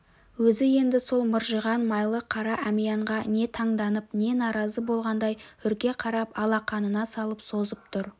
өзі енді сол мыржиған майлы қара әмиянға не таңданып не наразы болғандай үрке қарап алақанына салып созып тұр